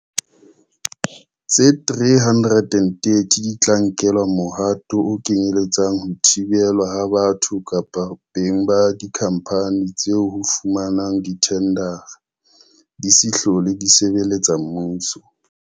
Tse 330 di tla nkelwa mohato o kenyele tsang ho thibelwa ha batho kapa beng ba dikhampani tseo ho fumana dithendara di se hlole di sebeletsa mmuso.